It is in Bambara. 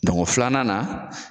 Dɔnko filanan na.